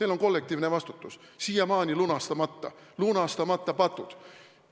Teil on kollektiivne vastutus siiamaani lunastamata, teil on lunastamata patud.